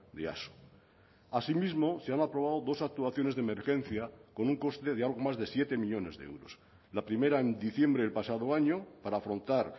de easo asimismo se han aprobado dos actuaciones de emergencia con un coste de algo más de siete millónes de euros la primera en diciembre del pasado año para afrontar